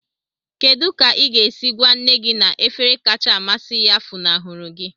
Kedu ka ị ga-esi gwa nne gị na efere kacha amasị ya funahụrụ gị?